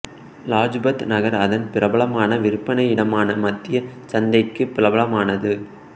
லஜ்பத் நகர் அதன் பிரபலமான விற்பனை இடமான மத்திய சந்தைக்கு பிரபலமானது